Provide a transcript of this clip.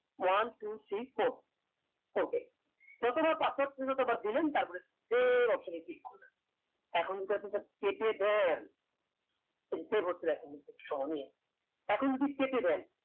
one two three four okay যত বার password চাইবে ততবার দিলেন তার পরে four option এ click করবেন এখন যদি আপনি এটা কেটে দেয় এখন যদি কেটে দেন